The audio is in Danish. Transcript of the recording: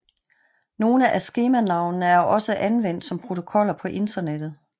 Nogle af skemanavnene er også anvendt som protokoller på internettet